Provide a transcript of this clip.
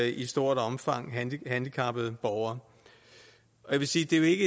i stort omfang gælder handicappede borgere jeg vil sige det